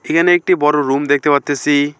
এখানে একটি বড় রুম দেখতে পারতেসি।